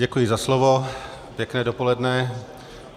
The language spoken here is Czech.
Děkuji za slovo, pěkné dopoledne.